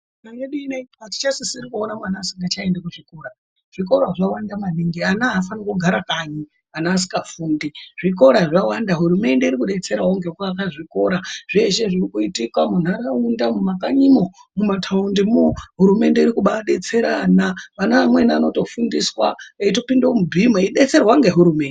Ndaramo yedu ineyi aticha sisiri kuona mwana asingacha endi ku chikora zvikora zvawanda maningi ana ava fanirwi kugara kanyi ana asika fundi zvikora zvawanda hurumende iri kudetserawo ngeku aka zvikora zveshe zviri kuitika mu nharaunda mu makanyimwo muma taundi mwo hurumende iri kubai detsera ana vana vamweni anoto fundiswa eito pinde mu bhimu eyi detserwa nge hurumende.